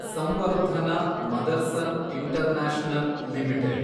Samvardhana Motherson international limited